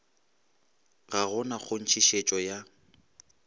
ga go na kgonthišetšo ya